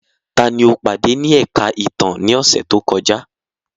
Tani o pade ni ẹka itan ni ọsẹ to kọja?